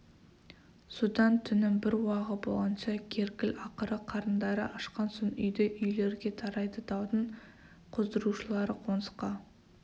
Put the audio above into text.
содан түннің бір уағы болғанша керкіл ақыры қарындары ашқан соң үйді үйлерге тарайды даудың қоздырушылары қонысқа